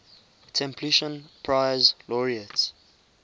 templeton prize laureates